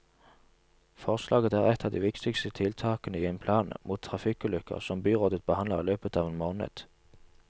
Forslaget er et av de viktigste tiltakene i en plan mot trafikkulykker, som byrådet behandler i løpet av en måned.